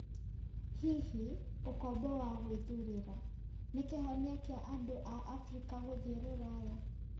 Hihi 'ũkombo wa gwĩthuurĩra'Nĩ kĩhonia kĩa andũ a Abirika gũthiĩ Rũraya.?